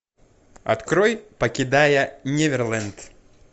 открой покидая неверленд